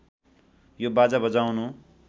यो बाजा बजाउनु